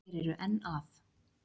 Og eru enn að.